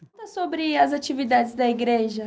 Conta sobre as atividades da igreja.